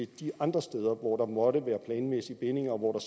de andre steder hvor der måtte være planmæssige bindinger og hvor der